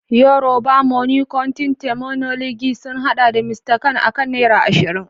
Yorùbá money counting terminology sun haɗa da "Mr kan" akan naira ashirin.